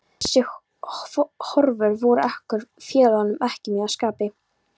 Þessar horfur voru okkur félögum ekki mjög að skapi.